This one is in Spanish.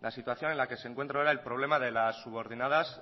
la situación en la que se encuentra ahora el problema de las subordinadas